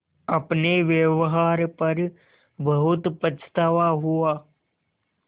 अपने व्यवहार पर बहुत पछतावा हुआ